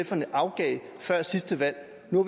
sferne afgav før sidste valg nu